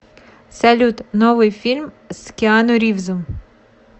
салют новый фильм с киану ривзом